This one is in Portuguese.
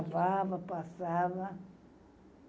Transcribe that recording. Lavava, passava.